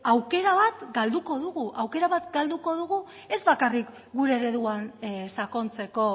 aukera bat galduko dugu aukera bat galduko dugu ez bakarrik gure ereduan sakontzeko